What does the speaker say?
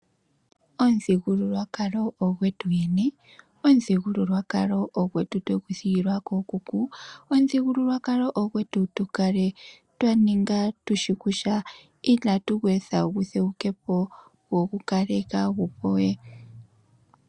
Omuthigululwakalo ogwetu yene, omuthigululwakalo ogwetu twegu thigilwa kookuku, omuthigululwakalo ogwetu tukale twa ninga tushi kutya inatu gu etha gutheuke po, gwo gukale kaagu po we.